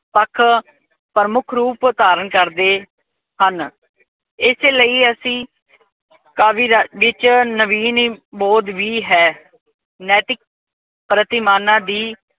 ਪੱਖ ਪ੍ਰਮੁੱਖ ਰੂਪ ਧਾਰਨ ਕਰਦੇ ਹਨ। ਏਸੇ ਲਈ ਅਸੀਂ ਕਾਵਿ ਰਾਜ ਵਿੱਚ ਨਵੀਨੀ ਬੌਧ ਵੀ ਹੈ। ਨੈਤਿਕ ਪ੍ਰਤਿਮਾਨਾਂ ਦੀ